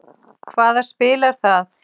Hvaða spil er það?